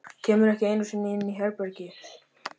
Kemur ekki einu sinni inn í herbergið.